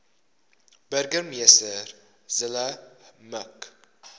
burgemeester zille mik